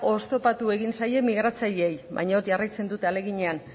oztopatu egin zaie migratzaileei baina jarraitzen dute ahaleginean